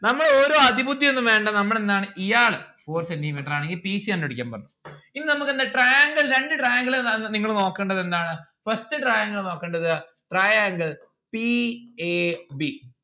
നമ്മൾ ഓരോ അതിബുദ്ധി ഒന്നും വേണ്ട നമ്മൾ എന്താണ് ഇയാള് four centi metre ആണ് ഈ p c കണ്ട് പിടിക്കാൻ പറഞ്ഞു ഇനി നമ്മുക്ക് എന്താ triangle രണ്ടു triangle ൽ നിങ്ങള് നോക്കേണ്ടത് എന്താണ് first triangle നോക്കണ്ടത് triangle p a b